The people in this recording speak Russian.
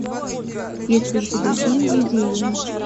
есть ли у тебя фильм видение